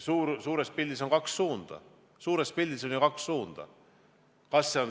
Suures pildis on kaks suunda.